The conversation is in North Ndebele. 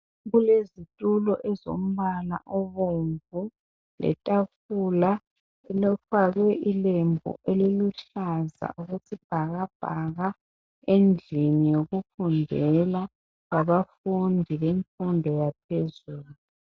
Kulezitulo ezombala obomvu letafula elifakwe ilembu elilombala oluhlaza okwesibhakabhaka endlini yokufundela yabafundi bemfundo yaphezulu.